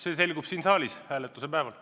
See selgub siin saalis hääletuse päeval.